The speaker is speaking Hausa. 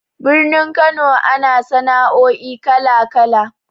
Birnin Kano ana sana'o'i kala-kala.